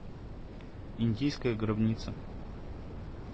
индийская гробница